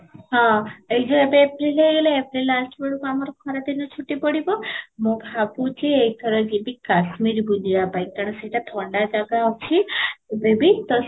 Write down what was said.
ହଁ, ଏଇ ଯଉ ଏବେ april ହେଇଗଲେ april last ବେଳକୁ ଆମର ଖରା ଦିନ ଛୁଟି ପଡିବ ମୁଁ ଭାବୁଛି ଏଥର ଯିବି କାଶ୍ମୀର ବୁଲିବା ପାଇଁ କାରଣ ସେଇଟା ଥଣ୍ଡା ଜାଗା ଅଛି ଅବେବି ତ ସେଠି